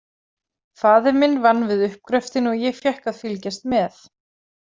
Faðir minn vann við uppgröftinn og ég fékk að fylgjast með.